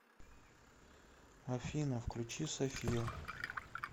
афина включи сафия